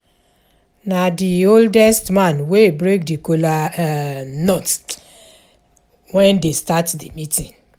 Na the oldest man wey break the kola um nut um wen dey start the meeting